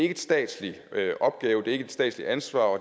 en statslig opgave det er ikke et statsligt ansvar og